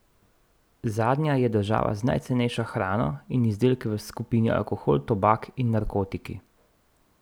Zadnja je država z najcenejšo hrano in izdelki v skupini alkohol, tobak in narkotiki.